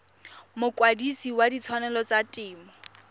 mokwadise wa ditshwanelo tsa temo